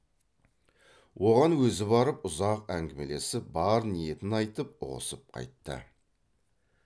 оған өзі барып ұзақ әңгімелесіп бар ниетін айтып ұғысып қайтты